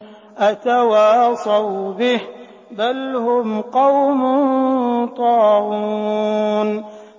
أَتَوَاصَوْا بِهِ ۚ بَلْ هُمْ قَوْمٌ طَاغُونَ